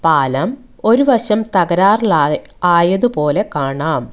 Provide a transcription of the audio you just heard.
പാലം ഒരു വശം തകരാറിലായ ആയതുപോലെ കാണാം.